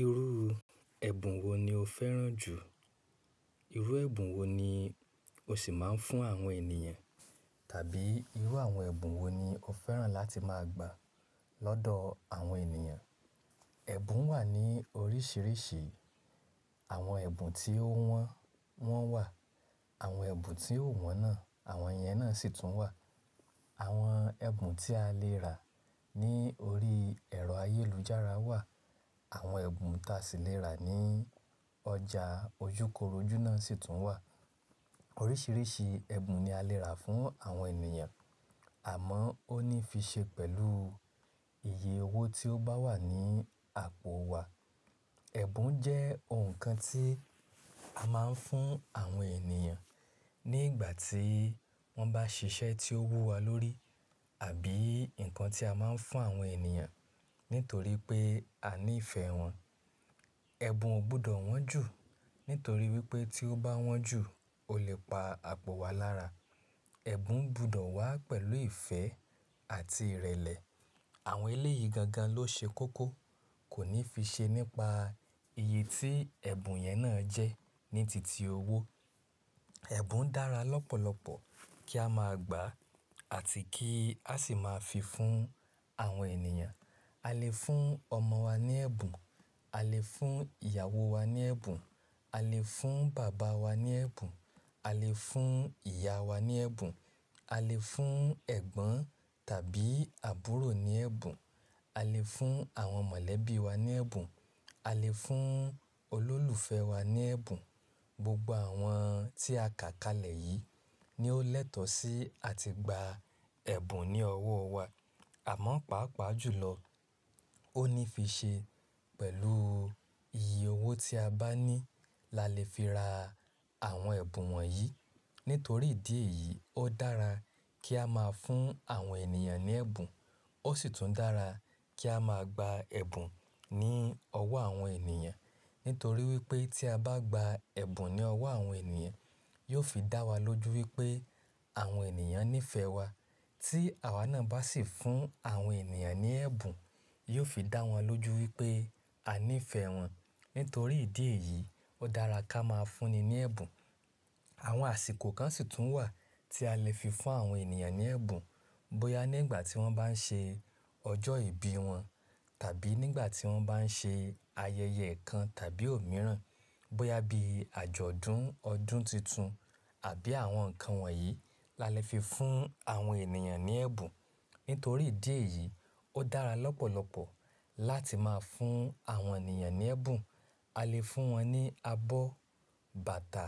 Irú ẹ̀bùn wo ni o fẹ́ràn jù? Irú ẹ̀bùn wo ni o ṣì máa ń fún àwọn ènìyàn? Tàbí irú àwọn ẹ̀bùn wo ni o fẹ́ràn láti máa gba lọ́dọ̀ àwọn ènìyàn? Ẹ̀bùn wà ní oríṣiríṣi. Àwọn ẹ̀bùn tí ó wọ́n, wọ́n wà. Àwọn ẹ̀bùn tí ò wọ́n náà, àwọn yẹn náà sì tún wà. Àwọn ẹ̀bùn tí a lè rà ní orí ẹ̀rọ ayélujára wà. Àwọn ẹ̀bùn tàsì lè rà ní ọjà ojúkorojú náà sì tún wà. Oríṣiríṣi ẹ̀bùn ni a lè rà fún àwọn ènìyàn, àmọ́ ó ní fi ṣe pẹ̀lú iye owó tí ó bá wà ní àpò wa. Ẹ̀bùn jẹ́ nǹkan tí a máa ń fún àwọn ènìyàn ní ìgbà tí wọ́n bá ṣiṣẹ́ tí ó wú wa lórí, àbí nǹkan tí a máa ń fún àwọn ènìyàn nítorí pé a nífẹ̀ẹ́ wọn. Ẹ̀bùn ò gbudọ̀ wọ́n jù. Nítorí wí pé tí ó bá wọ́n jù, o lè pa àpò wa lára. Ẹ̀bùn ń gbudò wá pẹ̀lú ìfẹ́ àti ìrẹ̀lẹ̀. Àwọn eléyií gangan ló ṣe kókó. Kò ní fi ṣe nípa iye tí ẹ̀bùn yẹn náà jẹ́ ní titi owó. Ẹ̀bùn dára lọ́pọ̀lọpọ̀ kí a máa gbà àti kí a sì máa fi fún àwọn ènìyàn. A lè fún ọmọ wa ní ẹ̀bùn. A lè fún ìyàwó wa ní ẹ̀bùn. A lè fún bàbá wa ní ẹ̀bùn. A lè fún ìyá wa ní ẹ̀bùn. A lè fún ẹ̀gbọ́n tàbí àbúrò ní ẹ̀bùn. A lè fún àwọn mọ̀lẹ́bí wa ní ẹ̀bùn. A lè fún olólùfẹ́ wa ní ẹ̀bùn. Gbogbo àwọn tí a kà kalẹ̀ yìí ni ó lẹ́tọ̀ sí a ti gba ẹ̀bùn ní ọwọ́ wa. Àmọ́ pàápàá jùlọ, ó ní fi ṣe pẹ̀lú iye owó tí a bá ní la lè fi ra àwọn ẹ̀bùn wọ̀nyí. Nítorí ìdí èyí, ó dára kí a máa fún àwọn ènìyàn ní ẹ̀bùn. Ó sì tún dára kí a máa gba ẹ̀bùn ní ọwọ́ àwọn ènìyàn. Nítorí wí pé tí a bá gba ẹ̀bùn ní ọwọ́ àwọn ènìyàn, yóò fi dá wa lójú wí pé àwọn ènìyàn nífẹ̀ẹ́ wa. Tí àwá náà bá sì fún àwọn ènìyàn ní ẹ̀bùn, yóò fi dá wọn lójú wí pé a nífẹ̀ẹ́ wọn. Nítorí ìdí èyí, ó dára kí a máa fúnni ní ẹ̀bùn. Àwọn àsìkò kan sì tún wà tí a lè fi fún àwọn ènìyàn ní ẹ̀bùn. Bóyá ní ìgbà tí wọ́n bá ń ṣe ọjọ́ ìbí wọn, tàbí nígbà tí wọ́n bá ń ṣe ayẹyẹ kan tàbí òmíràn. Bóyá bí àjọ̀dún ọdún títun, àbí àwọn nǹkan wọ̀nyí la lè fi fún àwọn ènìyàn ní ẹ̀bùn. Nítorí ìdí èyí, ó dára lọ́pọ̀lọpọ̀ láti máa fún àwọn ènìyàn ní ẹ̀bùn. A lè fún wọn ní abọ́, bàtà,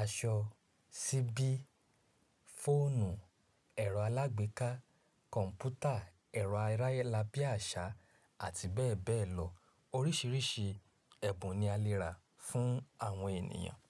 aṣọ, ṣíbí, fóònù, ẹ̀rọ alágbéká, kọ̀m̀pútà, ẹ̀rọ-arayélabí àṣá àti bẹ́ẹ̀ bẹ́ẹ̀ lọ. Oríṣiríṣi ẹ̀bùn ni a lè rà fún àwọn ènìyàn.